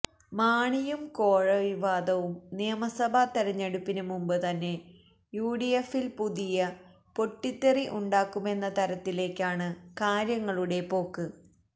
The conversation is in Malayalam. മാണിയും കോഴ വിവാദവും നിയമസഭ തിരഞ്ഞെടുപ്പിന് മുമ്പ് തന്നെ യുഡിഎഫില് പുതിയ പൊട്ടിത്തെറി ഉണ്ടാക്കുമെന്ന തരത്തിലേയ്ക്കാണ് കാര്യങ്ങളുടെ പോക്ക്